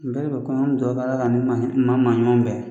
N bɛnkɛ ka ko ɲɛ, an bɛ dudwu kɛ Ala k'a ni maa ɲuman bɛn.